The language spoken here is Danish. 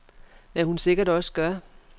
Hvad hun sikkert også gør.